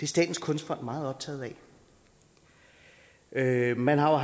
statens kunstfond meget optaget af man har